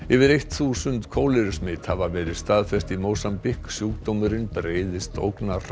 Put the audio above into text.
yfir eitt þúsund kólerusmit hafa verið staðfest í Mósambík sjúkdómurinn breiðist